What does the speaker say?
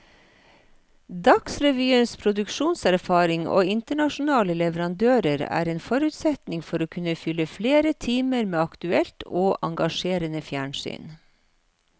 Dagsrevyens produksjonserfaring og internasjonale leverandører er en forutsetning for å kunne fylle flere timer med aktuelt og engasjerende fjernsyn.